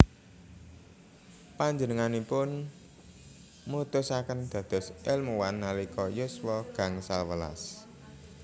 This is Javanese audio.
Panjenenganipun mutusaken dados èlmuwan nalika yuswa gangsal welas